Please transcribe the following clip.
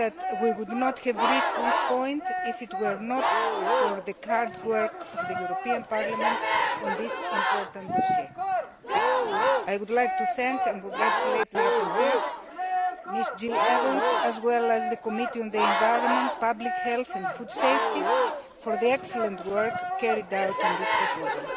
We would not have reached this point if it were not for the hard work of the European Parliament on this important dossier. I would like to thank and congratulate the rapporteur, Jillian Evans, as well as the Committee on the Environment, Public Health and Food Safety, for the excellent work carried out on this proposal.